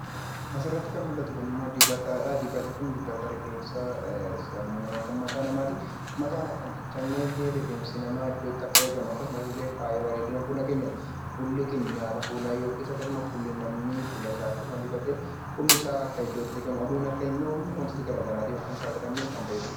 Asirratti kan mul'atu kunimmoo dibatadha. Dibati kun dibata rifeensaa kan mataa namaati. Mataan akka hin caccabneef rifeensi namaa iddootti akka eegamu akkasumallee bareedina fuula keenyaaf fuulli keenya nyaataa fuulaa yookiin fuulasaa akkasuma dibatee akka iddootti eegamu akka aduun hin dhoofne wantoota garaagaraatiif akka hin saaxilamne kan eegudha.